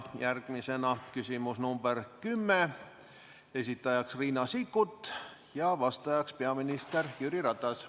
Järgmine küsimus on nr 10, esitajaks Riina Sikkut ja vastajaks peaminister Jüri Ratas.